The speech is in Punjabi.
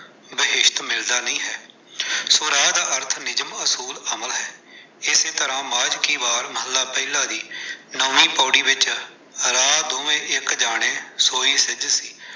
ਈਸਟ ਮਿਲਦਾ ਨਹੀਂ ਹੈ। ਸੋ ਰਾਹ ਦਾ ਅਰਥ ਨਿਯਮ, ਅਸੂਲ, ਅਮਲ ਹੈ। ਇਸੇ ਤਰ੍ਹਾਂ ਮਾਝ ਕੀ ਵਾਰ ਮੱਹਲਾ ਪਹਿਲਾ ਦੀ ਨੌਵੀਂ ਪੌੜੀ ਵਿੱਚ ਰਾਹ ਦੋਵੇਂ ਇੱਕ ਜਾਣੇ ਸੋਈ ਸਿੱਜ ਸੀ।